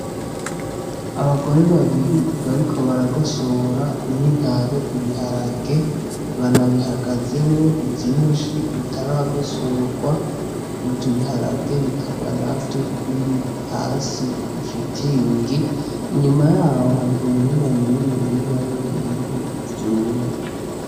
Abagore babiri bariko baragosora n'intaro ibiharage bana bihagazemwo vyishi bitaragosorwa ivyo biharage bikaba navyo biri hasi kw'ishitingi inyuma yaho hari umurima muniniya w'ibintu vyumye.